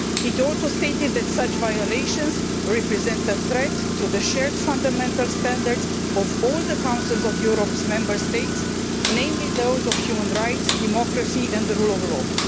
It also stated that such violations represent a threat to the shared fundamental standards of all the Council of Europe's member states, namely those of human rights, democracy and the rule of law'.